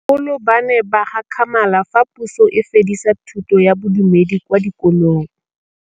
Bagolo ba ne ba gakgamala fa Pusô e fedisa thutô ya Bodumedi kwa dikolong.